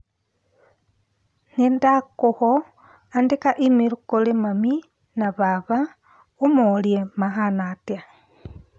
Nĩndakũho andĩka i-mīrū kũrĩ mami na baba ũmorie mahana atia.